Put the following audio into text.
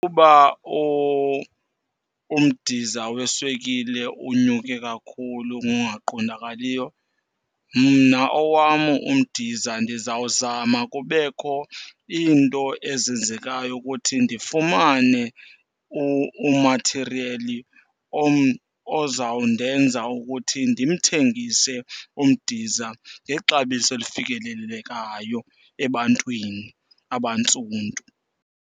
Uba umdiza weswekile unyuke kakhulu ngokungaqondakaliyo, mna owam umdiza ndizawuzama kubekho iinto ezenzekayo ukuthi ndifumane umathiriyeli ozawundenza ukuthi ndimthengise umdiza ngexabiso elifikelelekayo ebantwini abantsundu.